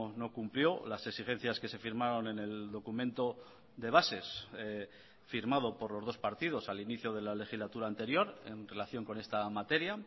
no cumplió las exigencias que se firmaron en el documento de bases firmado por los dos partidos al inicio de la legislatura anterior en relación con esta materia